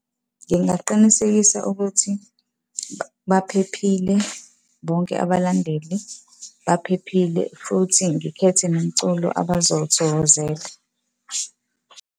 Ngingaqinisekisa ukuthi baphephile bonke abalandeli, baphephile futhi ngikhethe nomculo abazowuthokozela.